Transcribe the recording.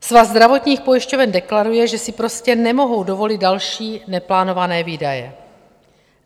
Svaz zdravotních pojišťoven deklaruje, že si prostě nemohou dovolit další neplánované výdaje.